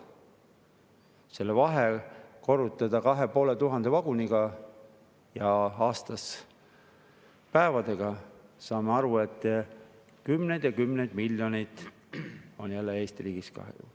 Kui see vahe korrutada 2500 vaguniga ja aasta päevade arvuga, saame aru, et kümned ja kümned miljonid on jälle Eesti riigis kadunud.